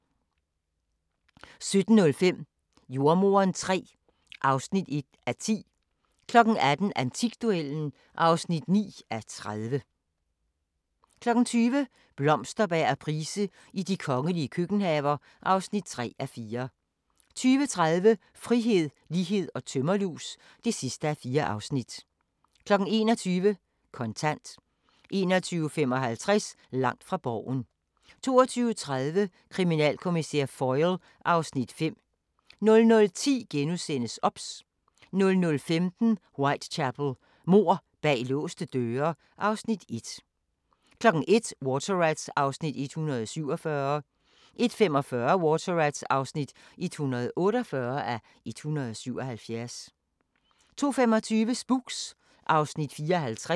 20:00: Blomsterberg og Price i de kongelige køkkenhaver (3:4) 20:30: Frihed, lighed & tømmerlus (4:4) 21:00: Kontant 21:55: Langt fra Borgen 22:30: Kriminalkommissær Foyle (Afs. 5) 00:10: OBS * 00:15: Whitechapel: Mord bag låste døre (Afs. 1) 01:00: Water Rats (147:177) 01:45: Water Rats (148:177) 02:25: Spooks (Afs. 54)